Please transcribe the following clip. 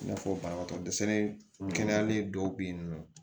I n'a fɔ banabagatɔ dɛsɛlen dɔw bɛ yen nɔ